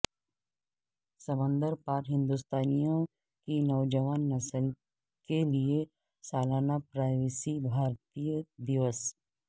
سمندر پار ہندوستانیوں کی نوجوان نسل کے لیے سالانہ پرواسی بھارتیہ دیوس